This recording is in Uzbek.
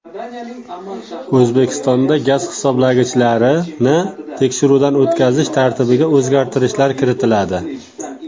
O‘zbekistonda gaz hisoblagichlarini tekshiruvdan o‘tkazish tartibiga o‘zgartirishlar kiritiladi.